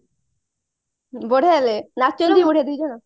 ବଢିଆ ଲାଗେ ନାଚନ୍ତି ବଢିଆ ଦି ଜଣ